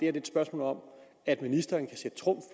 er et spørgsmål om at ministeren kan sætte trumf